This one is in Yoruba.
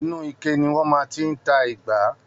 Inú ike ni wọn máa n ti ìgbà sí.